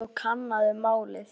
Farðu og kannaðu málið.